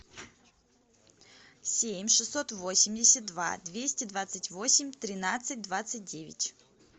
семь шестьсот восемьдесят два двести двадцать восемь тринадцать двадцать девять